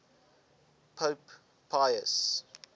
pope pius